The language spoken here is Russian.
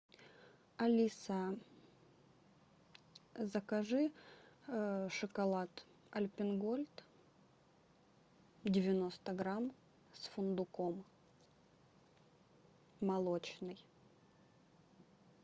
алиса закажи шоколад альпен гольд девяносто грамм с фундуком молочный